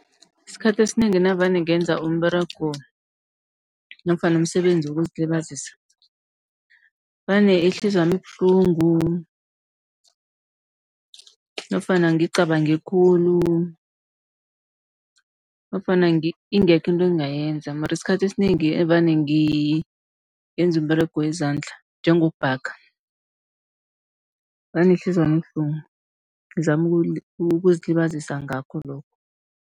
Isikhathi esinengi navane ngenza umberego nofana umsebenzi wokuzilibazisa vane ihliziyo yami ibuhlungu, nofana ngicabange khulu, nofana ingekho into engingayenza. Mara isikhathi esinengi evane ngenza umberego wezandla njengokubhaga, vane ihliziyo yami ibuhlungu izama ukuzilibazisa ngakho lokho.